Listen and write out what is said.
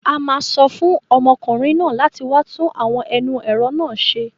A máa sọ fún ọmọkùnrin náà láti wá tún àwọn ẹnu ẹ̀rọ náà ṣe.